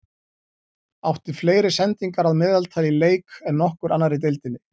Átti fleiri sendingar að meðaltali í leik en nokkur annar í deildinni.